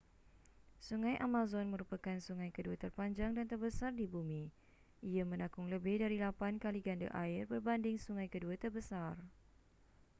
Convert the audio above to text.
sungai amazon merupakan sungai kedua terpanjang dan terbesar di bumi ia menakung lebih dari 8 kali ganda air berbanding sungai kedua terbesar